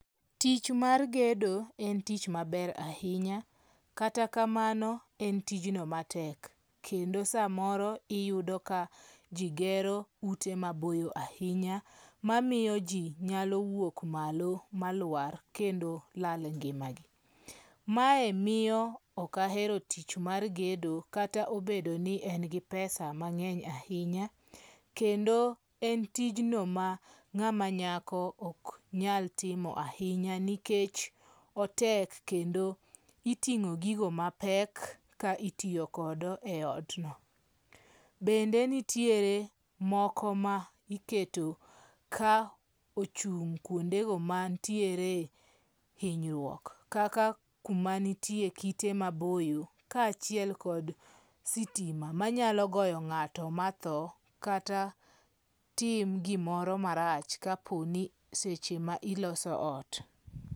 Tich mar gedo en tich maber ahinya kata kamano en tijno matek, kendo samoro iyudo ka ji gero ute maboyo ahinya mamiyo ji nyalo wuok malo malwar kendo lal ngimagi. Mae miyo ok ahero tich mar gedo kata obedo ni en gi pesa mang'eny ahinya, kendo en tijno ma ng'ama nyako ok nyal timo ahinya nikech otek kendo iting'o gigo mapek ka itiyo kodo eot no. Bende nitie moko ma iketo ka ochung' kuondego mantiere hinyruok kaka kuma nitiere kite maboyo kaachiel kod sitima ma nyalo goyo ng'ato matho. Kata tim gimoro marach kaponi seche ma iloso ot.